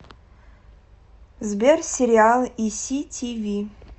сбер сериалы и си ти ви